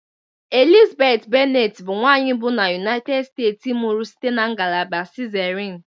Elizabeth Bennett bụ nwanyị mbụ na United States mụrụ site na ngalaba cesarean